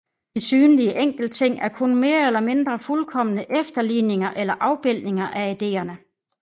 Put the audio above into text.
De synlige enkeltting er kun mere eller mindre fuldkomne efterligninger eller afbildninger af ideerne